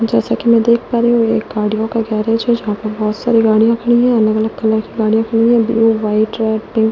जैसा कि मैं देख पा रही हूँ ये एक गाड़ियों का गैरेज है जहां पर बहुत सारी गाड़ियां खड़ी है अलग-अलग कलर की गाड़ियां खड़ी है ब्लू वाइट रेड पिंक ।